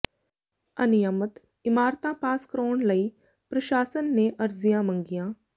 ਅਨਿਯਮਤ ਇਮਾਰਤਾਂ ਪਾਸ ਕਰਾਉਣ ਲਈ ਪ੍ਰਸ਼ਾਸਨ ਨੇ ਅਰਜ਼ੀਆਂ ਮੰਗੀਆਂ